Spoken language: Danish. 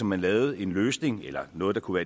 man lavede en løsning eller noget der kunne